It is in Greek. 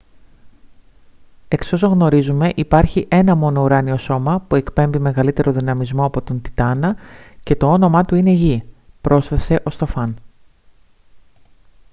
«εξ όσων γνωρίζουμε υπάρχει ένα μόνο ουράνιο σώμα που εκπέμπει μεγαλύτερο δυναμισμό από τον τιτάνα και το όνομά του είναι γη» πρόσθεσε ο στοφάν